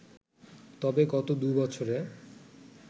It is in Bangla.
তবে গত দু’বছরে